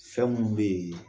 Fɛn minnu bɛ yen